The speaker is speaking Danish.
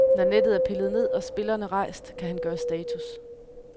Når nettet er pillet ned og spillerne rejst, kan han gøre status.